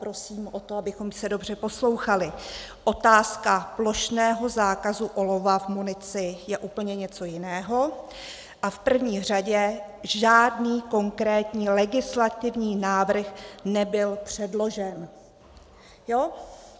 Prosím o to, abychom se dobře poslouchali: Otázka plošného zákazu olova v munici je úplně něco jiného a v první řadě žádný konkrétní legislativní návrh nebyl předložen.